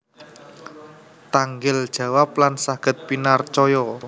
Tanggel jawab lan saged pinarcaya